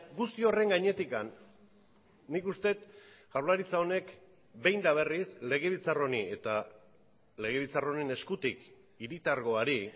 guzti horren gainetik nik uste dut jaurlaritza honek behin eta berriz legebiltzar honi eta legebiltzar honen eskutik hiritargoari